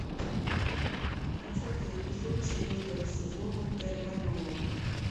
двадцатый эпизод четвертого сезона терра нова